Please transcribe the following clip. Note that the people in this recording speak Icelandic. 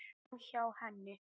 Framhjá henni.